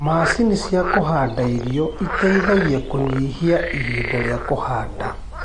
Macini ya kũhanda irio ĩteĩthagĩa kũnyihia ĩhĩnda ria kuhanda